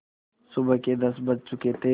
सुबह के दस बज चुके थे